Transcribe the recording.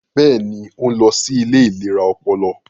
Bẹẹni, o nlọ sí ilé ìlera ọpọlọ